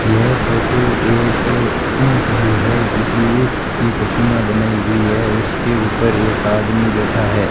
यह फोटो एक ऊंट की है जिस ऊंट की प्रतिमा बनाई हुई है उसके ऊपर एक आदमी बैठा है।